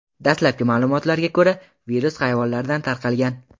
Dastlabki ma’lumotlarga ko‘ra, virus hayvonlardan tarqalgan.